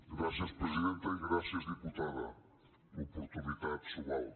gràcies presidenta i gràcies diputada l’oportunitat s’ho val